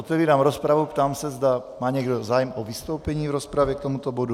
Otevírám rozpravu, ptám se, zda má někdo zájem o vystoupení v rozpravě k tomuto bodu.